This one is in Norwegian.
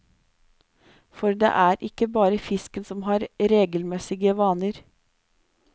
For det er ikke bare fisken som har regelmessige vaner.